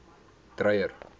dreyer